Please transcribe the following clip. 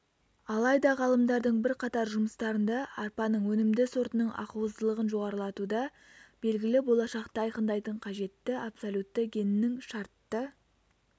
алайда ғалымдардың бірқатар жұмыстарында арпаның өнімді сортының ақуыздылығын жоғарылатуда белгілі болашақты айқындайтын қажетті абсолютті геннің шартты